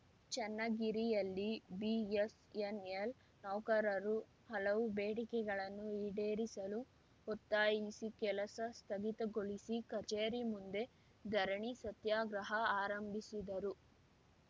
ಚನ್ನಗಿರಿಯಲ್ಲಿ BSNL ನೌಕರರು ಹಲವು ಬೇಡಿಕೆಗಳನ್ನು ಈಡೇರಿಸಲು ಒತ್ತಾಯಿಸಿ ಕೆಲಸ ಸ್ಥಗಿತಗೊಳಿಸಿ ಕಚೇರಿ ಮುಂದೆ ಧರಣಿ ಸತ್ಯಾಗ್ರಹ ಆರಂಭಿಸಿದರು